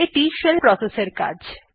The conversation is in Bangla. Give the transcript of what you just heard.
এইটি শেল প্রসেস এর কাজ